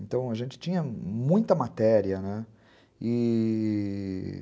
Então, a gente tinha muita matéria, né? e...